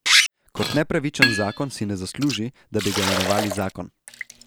Kot nepravičen zakon si ne zasluži, da bi ga imenovali zakon.